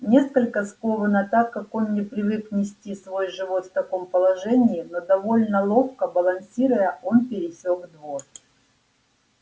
несколько скованно так как он не привык нести свой живот в таком положении но довольно ловко балансируя он пересёк двор